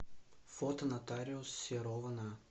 фото нотариус серова на